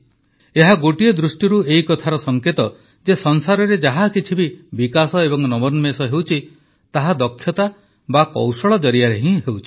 ଏହା ଗୋଟିଏ ଦୃଷ୍ଟିରୁ ଏହି କଥାର ସଂକେତ ଯେ ସଂସାରରେ ଯାହାକିଛି ବି ବିକାଶ ଏବଂ ନବୋନ୍ମେଷ ହେଉଛି ତାହା ଦକ୍ଷତା ବା କୌଶଳ ଜରିଆରେ ହିଁ ହେଉଛି